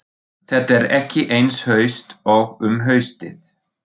Þetta er ekki eins haust og um haustið.